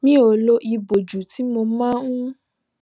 mi ò lo ìbòjú tí mo máa ń